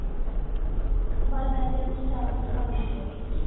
ਵਲ ਪੈਂਦੇ ਆ ਉਹਦੇ ਚ ਚਾਰ ਪੰਜ ਵਲ ਹੁੰਦੇ ਆ ਸਿਰਫ